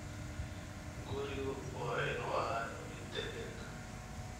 Gurigu waa inuu ahaado mid deggan.